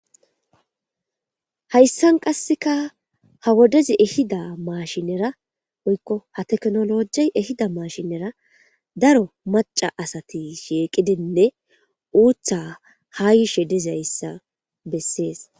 hayssan qasseka ha wodezi ehida maashinera oykko ha teknolojey ehida mashinera daro maca asati sheeqidinne uutha ha yishe dizayssa bessees